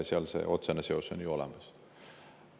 Seal on otsene seos ju olemas.